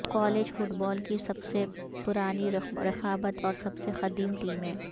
college football کی سب سے پرانی رقابت اور سب سے قدیم ٹیمیں